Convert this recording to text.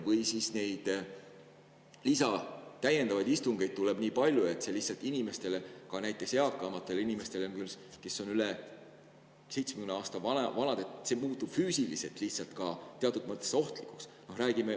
Või siis tuleb täiendavaid istungeid nii palju, et see lihtsalt inimestele, just eakamatele inimestele, kes on üle 70 aasta vanad, muutub füüsiliselt lihtsalt teatud mõttes ohtlikuks.